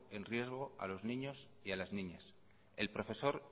en riesgo a los niños y a las niñas el profesor